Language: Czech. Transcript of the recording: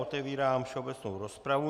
Otevírám všeobecnou rozpravu.